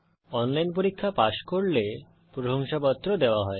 online পরীক্ষা pass করলে প্রশংসাপত্র দেওয়া হয়